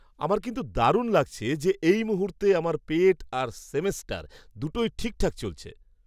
আমার কিন্তু দারুণ লাগছে যে, এই মুহূর্তে আমার পেট আর সেমেস্টার, দুটোই ঠিকঠাক চলছে।